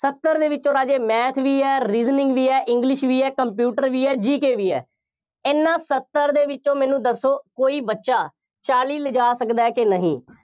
ਸੱਤਰ ਦੇ ਵਿੱਚੋਂ ਰਾਜੇ math ਵੀ ਹੈ, reasoning ਵੀ ਹੈ, english ਵੀ ਹੈ, computer ਵੀ ਹੈ, GK ਵੀ ਹੈ। ਐਨਾ ਸੱਤਰ ਦੇ ਵਿੱਚੋਂ ਮੈਨੂੰ ਦੱਸੋ, ਕੋਈ ਬੱਚਾ ਚਾਲੀ ਲਿਜਾ ਸਕਦਾ ਕਿ ਨਹੀਂ,